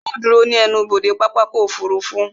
Yóò ó dúró ní ẹnubodè pápákọ̀ ọkọ̀ òfurufú